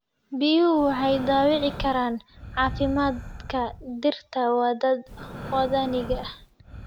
Biyuhu waxay dhaawici karaan caafimaadka dhirta waddaniga ah.